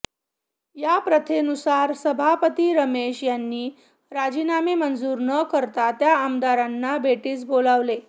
या प्रथेनुसार सभापती रमेश यांनी राजीनामे मंजूर न करता त्या आमदारांना भेटीस बोलावले